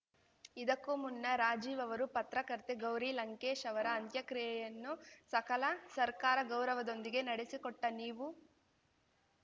ಇದಕ್ಕೂ ಮುನ್ನ ರಾಜೀವ್‌ ಅವರು ಪತ್ರಕರ್ತೆ ಗೌರಿ ಲಂಕೇಶ್‌ ಅವರ ಅಂತ್ಯಕ್ರಿಯೆಯನ್ನು ಸಕಲ ಸರ್ಕಾರ ಗೌರವದೊಂದಿಗೆ ನಡೆಸಿಕೊಟ್ಟನೀವು